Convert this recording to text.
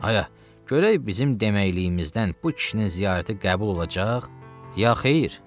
A, görək bizim deməyiliyimizdən bu kişinin ziyarəti qəbul olacaq, ya xeyr?